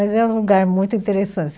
Mas é um lugar muito interessante.